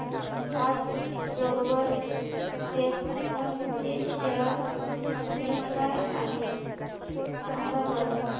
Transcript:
आज global Vectra चे share मूल्य काय आहे सांगा बरं